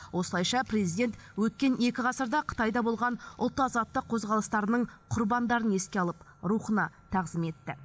осылайша президент өткен екі ғасырда қытайда болған ұлт азаттық қозғалыстарының құрбандарын еске алып рухына тағзым етті